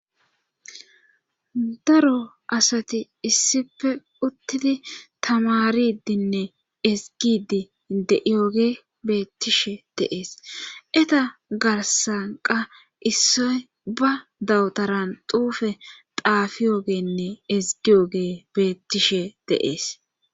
daro asati issife uttidi tamaridinne esgidi deiyooge beettishe deees eta garsanqa issoy ba dawutaran duufe daafiyoogenne ezgiyooge beettishe deees